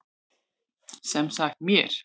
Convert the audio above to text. Sem sagt mér.